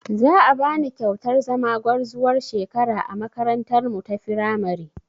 Za a bani kyautar zama gwarzuwar shekara a makarantarmu ta firamare